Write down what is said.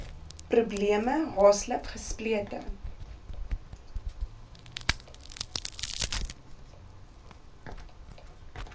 probleme haaslip gesplete